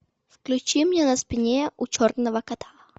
включи мне на спине у черного кота